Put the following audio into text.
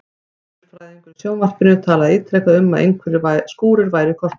Veðurfræðingur í sjónvarpinu talaði ítrekað um að einhverjir skúrir væru í kortunum.